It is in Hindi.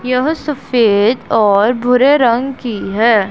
यह सफेद और भूरे रंग की है।